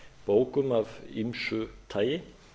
bókum af ýmsu tagi